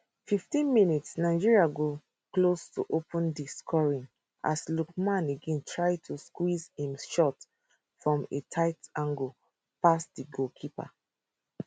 15 mins nigeria go close to open di scoring as lookman again try to squeeze im shot from a tight angle past di goalkeeper